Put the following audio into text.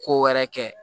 Ko wɛrɛ kɛ